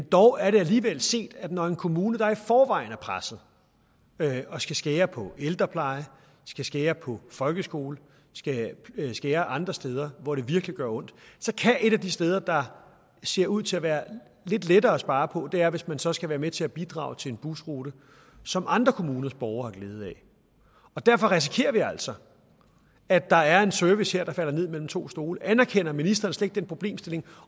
dog alligevel set at når en kommune der i forvejen er presset og skal skære på ældreplejen skal skære på folkeskolen skal skære andre steder hvor det virkelig gør ondt så kan et af de steder der ser ud til at være lidt lettere at spare på være hvis man så skal være med til at bidrage til en busrute som andre kommuners borgere har glæde af derfor risikerer vi altså at der her er en service der falder ned mellem to stole anerkender ministeren slet ikke den problemstilling